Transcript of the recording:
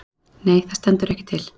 Nei það stendur ekki til.